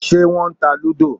Ṣé wọ́n ta lúdò?